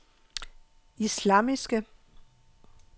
islamiske